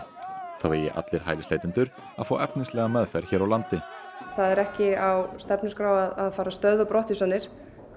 þá eigi allir hælisleitendur að fá efnislega meðferð hér á landi það er ekki á stefnuskrá að fara að stöðva brottvísanir